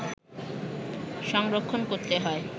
সংরক্ষণ করতে হয়